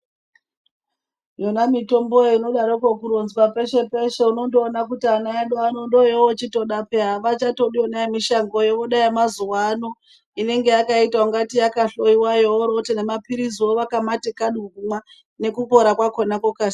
Yona mitomboyo inodaroko kuronzwa peshe-peshe unondoona kuti ana edu ano ndooyowoochitoda peya havachatodi yona yemushangoyo voda yamazuwaano inenge yakaita ungati yakahloiwayo vorooti nemaphiliziwo vakamati kadu kumwa, nekupora kwakona kokasi..